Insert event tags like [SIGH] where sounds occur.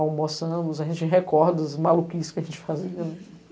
Almoçamos, a gente recorda as maluquices que a gente fazia, né. [LAUGHS]